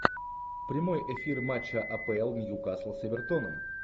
прямой эфир матча апл ньюкасл с эвертоном